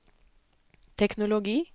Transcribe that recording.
teknologi